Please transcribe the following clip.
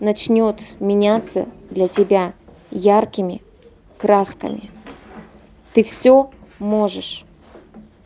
начнёт меняться для тебя яркими красками ты всё можешь